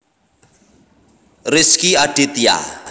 Rezky Aditya